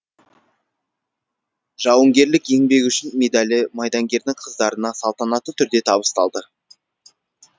жауынгерлік еңбегі үшін медалі майдангердің қыздарына салтанатты түрде табысталды